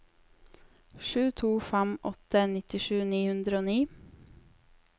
sju to fem åtte nittisju ni hundre og ni